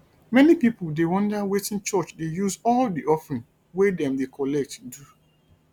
many pipo dey wonder wetin church dey use all the offering wey dem dey collect do